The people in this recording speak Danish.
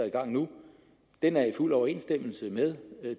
i gang nu er i fuld overensstemmelse med